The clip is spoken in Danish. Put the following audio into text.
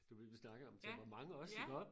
Det var det vi snakkede om temperament også iggå